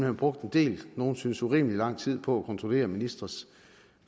har brugt en del nogle synes urimelig lang tid på at kontrollere ministres